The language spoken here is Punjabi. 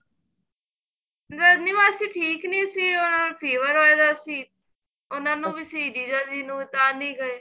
ਰਜਨੀ ਮਾਸੀ ਠੀਕ ਨੀਂ ਸੀ ਉਹ fever ਹੋਇਆ ਗਾ ਸੀ ਉਹਨਾ ਨੂੰ ਵੀ ਸੀ ਜੀਜਾ ਨੂੰ ਵੀ ਟਾਲੀ ਗਏ